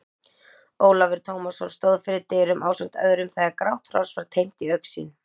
Ólafur Tómasson stóð fyrir dyrum ásamt öðrum þegar grátt hross var teymt í augsýn.